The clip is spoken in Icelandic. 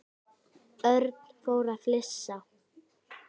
Örn fór að flissa.